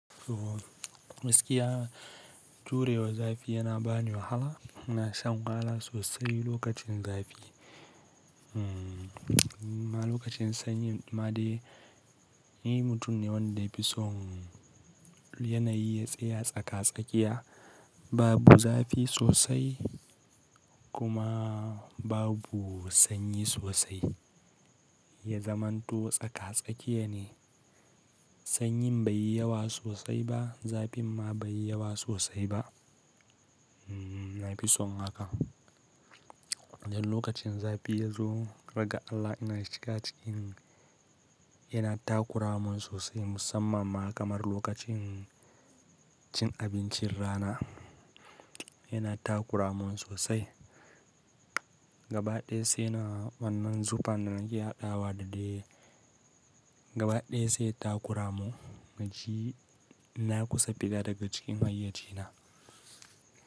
To, miskiya turewa zafi yana bani wahala. Na sha ngala sosai lokacin zafi. Ma lokacin sanyi ma dai ni mutum ne wanda ya fi son yanayi tsaye tsaka-tsakiya, babu zafi sosai kuma babu sanyi sosai. Ya zamanto tsaka-tsakiya ne. Sanyi bai yi yawa sosai ba, zafin ma bai yi yawa sosai ba. Na fi son haka. Dan lokacin zafi yazo, raga Allah ina cika cikin, yana takura mun sosai musamman ma kamar lokacin cin abincin rana. Yana takura mun sosai. Gabaɗaya sai na wannan zufan da nake haɗawa da dai gabaɗaya sai ya takura mu. Maji ina kusa fita daga cikin hayyayye na.